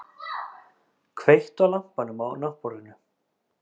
Kveiktu á lampanum á náttborðinu!